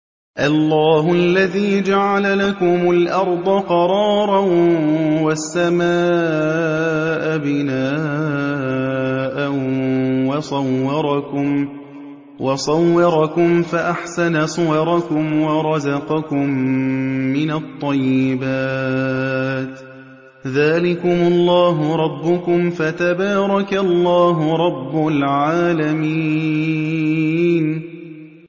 اللَّهُ الَّذِي جَعَلَ لَكُمُ الْأَرْضَ قَرَارًا وَالسَّمَاءَ بِنَاءً وَصَوَّرَكُمْ فَأَحْسَنَ صُوَرَكُمْ وَرَزَقَكُم مِّنَ الطَّيِّبَاتِ ۚ ذَٰلِكُمُ اللَّهُ رَبُّكُمْ ۖ فَتَبَارَكَ اللَّهُ رَبُّ الْعَالَمِينَ